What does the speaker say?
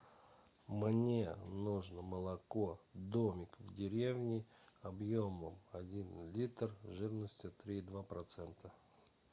мне нужно молоко домик в деревне объемом один литр жирностью три и два процента